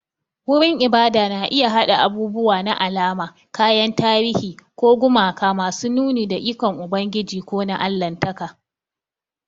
Wurin ibada na iya haɗa abubuwa na alama, kayan tarihi, ko gumaka masu nuni da ikon Ubangiji ko na Allahntaka.